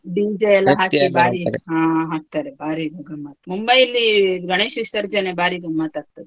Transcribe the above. ಹ ಹಾಕ್ತಾರೆ ಬಾರಿ ಸಂಭ್ರಮ, Mumbai ಯಲ್ಲಿ ಗಣೇಶ ವಿಸರ್ಜನೆ ಬಾರಿ ಗಮ್ಮತ್ ಆಗ್ತದೆ.